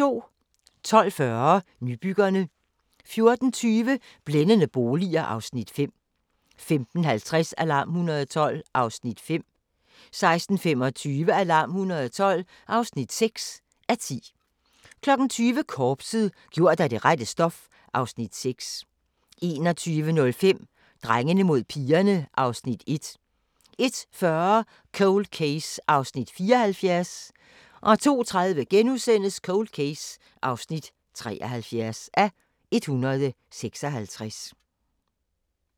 12:40: Nybyggerne 14:20: Blændende boliger (Afs. 5) 15:50: Alarm 112 (5:10) 16:25: Alarm 112 (6:10) 20:00: Korpset – gjort af det rette stof (Afs. 6) 21:05: Drengene mod pigerne (Afs. 1) 01:40: Cold Case (74:156) 02:30: Cold Case (73:156)*